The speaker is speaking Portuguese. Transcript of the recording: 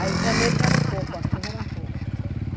Aí janeiro já era um pouco, a chuva era um pouco.